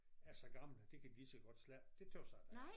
Er så gammel at de kan de lige så godt slette det tøs jeg da er